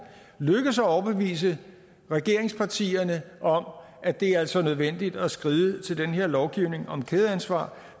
lykkes at overbevise regeringspartierne om at det altså er nødvendigt at skride til den her lovgivning om kædeansvar